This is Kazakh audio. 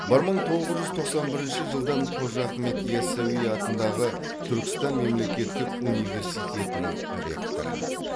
бір мың тоғыз жүз тоқсан бірінші жылдан қожа ахмет яссауи атындағы түркістан мемлекеттік университетінің ректоры